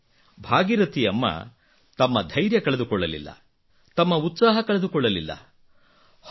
ಆದರೆ ಭಾಗೀರಥಿ ಅಮ್ಮ ತಮ್ಮ ಧೈರ್ಯ ಕಳೆದುಕೊಳ್ಳಲಿಲ್ಲ ತಮ್ಮ ಉತ್ಸಾಹ ಕಳೆದುಕೊಳ್ಳಲಿಲ್ಲ